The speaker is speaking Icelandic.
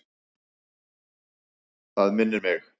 Það minnir mig.